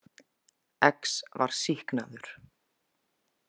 X var sýknaður.